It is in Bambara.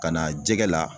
Ka na jɛgɛ la